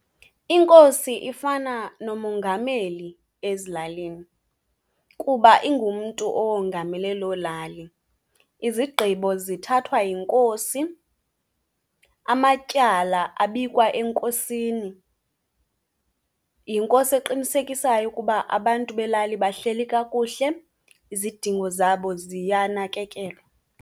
Inkosi ifana nomongameli ezilalini kuba ingumntu owongamele loo lali. Izigqibo zithathwa yinkosi, amatyala, abikwa enkosini. Yinkosi eqinisekisayo ukuba abantu belali bahleli kakuhl, izidingo zabo ziyanakekelwa.